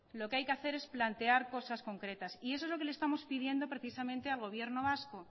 lo que hay que hacer es plantear cosas concretas y eso es lo que le estamos pidiendo precisamente al gobierno vasco